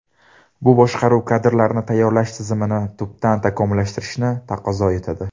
Bu boshqaruv kadrlarini tayyorlash tizimini tubdan takomillashtirishni taqozo etadi.